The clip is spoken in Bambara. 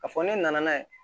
Ka fɔ ne nana n'a ye